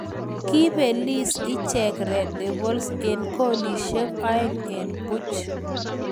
Koipeliis Icheek red devils eng kolisiek oeng eng puuch